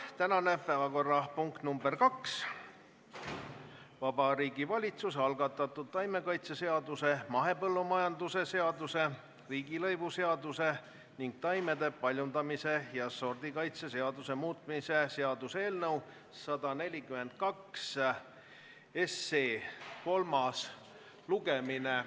Tänane teine päevakorrapunkt on Vabariigi Valitsuse algatatud taimekaitseseaduse, mahepõllumajanduse seaduse, riigilõivuseaduse ning taimede paljundamise ja sordikaitse seaduse muutmise seaduse eelnõu 142 kolmas lugemine.